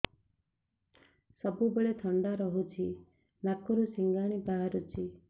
ସବୁବେଳେ ଥଣ୍ଡା ରହୁଛି ନାକରୁ ସିଙ୍ଗାଣି ବାହାରୁଚି